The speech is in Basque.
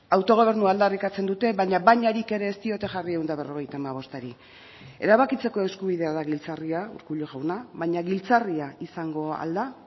autogobernua aldarrikatzen dute baina bainarik ere ez diote jarri ehun eta berrogeita hamabostari erabakitzeko eskubidea da giltzarria urkullu jauna baina giltzarria izango ahal da